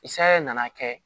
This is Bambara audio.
I sayɛ na'a kɛ